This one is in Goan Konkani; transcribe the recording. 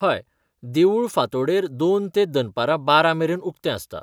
हय. देवूळ फांतोडेर पांच ते दनपारां बारा मेरेन उक्तें आसता.